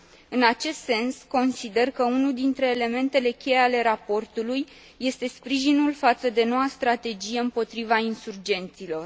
În acest sens, consider că unul dintre elementele cheie ale raportului este sprijinul față de noua strategie împotriva insurgenților.